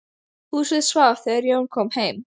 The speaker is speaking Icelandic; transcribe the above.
Húsið svaf þegar Jón kom heim.